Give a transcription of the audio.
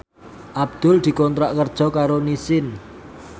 Abdul dikontrak kerja karo Nissin